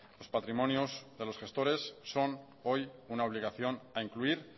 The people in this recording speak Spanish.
los patrimonios de los gestores son hoy una obligación a incluir